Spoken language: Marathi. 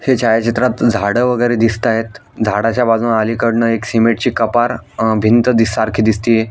ह्या छायाचित्रात झाडं वगैरे दिसतायेत झाडाच्या बाजून अलीकडनं एक सीमेंट ची कपार अ भिंत दिस सारखी दिसतीये.